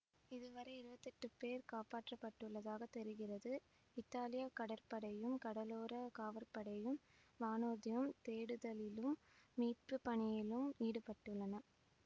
இது வரை இருவத்தி எட்டு பேர் காப்பாற்றபட்டுள்ளதாக தெரிகிறது இத்தாலிய கடற்படையும் கடலோர காவற்படையும் வானூர்தியும் தேடுதலிலும் மீட்புபணியிலும் ஈடுபட்டுள்ளன